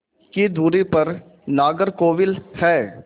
की दूरी पर नागरकोविल है